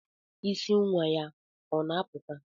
Isí nwa ya ọ na-apụta?